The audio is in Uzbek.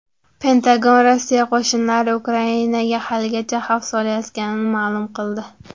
Pentagon Rossiya qo‘shinlari Ukrainaga haligacha xavf solayotganini ma’lum qildi.